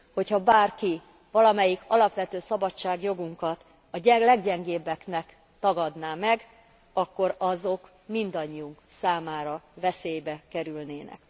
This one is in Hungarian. Hogy ha bárki valamelyik alapvető szabadságjogunkat a leggyengébbektől tagadná meg, akkor azok mindannyiunk számára veszélybe kerülnének.